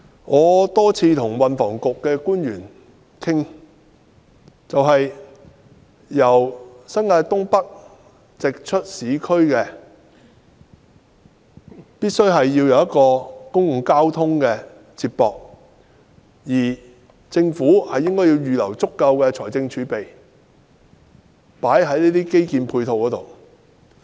我多次與運輸及房屋局官員討論由新界東北直達市區的方法，必須有公共交通接駁，而政府應預留足夠的財政儲備投放在這些基建配套上。